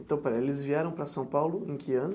Então espera, eles vieram para São Paulo em que ano?